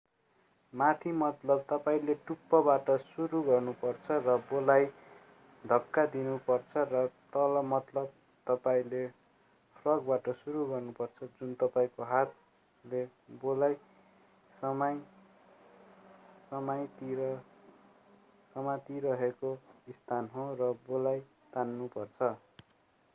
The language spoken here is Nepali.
माथि मतलब तपाईंले टुप्पाबाट सुरु गर्नुपर्छ र बोलाई धक्का दिनु पर्छ र तल मतलब तपाईंले फ्रगबाट सुरु गर्नुपर्छ जुन तपाईंको हातले बोलाई समातिरहेको स्थान हो र बोलाई तान्नुपर्छ।